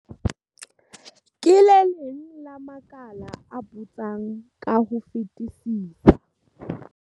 Ke le leng la makala a putsang ka ho fetisisa.